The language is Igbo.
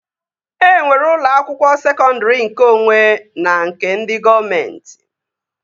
E nwere ụlọ akwụkwọ sekọndri nkeonwe na nke ndị gọọmenti